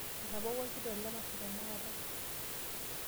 Ebawua orkitok lemasho tenakata.